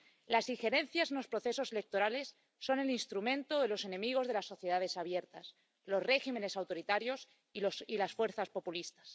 Las injerencias en los procesos electorales son el instrumento de los enemigos de las sociedades abiertas, los regímenes autoritarios y las fuerzas populistas.